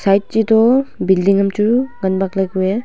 right che to building am chu ngan bak le kue.